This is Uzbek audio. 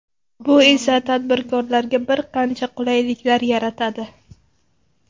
Bu esa tadbirkorlarga bir qancha qulayliklar yaratadi.